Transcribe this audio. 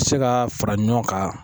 Se ka fara ɲɔgɔn kan